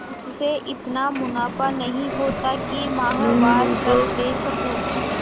उससे इतना मुनाफा नहीं होता है कि माहवार खर्च दे सकूँ